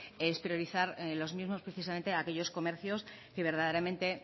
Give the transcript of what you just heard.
es priorizar los mismos precisamente a aquellos comercios que verdaderamente